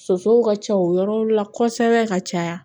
Sosow ka ca o yɔrɔ la kosɛbɛ ka caya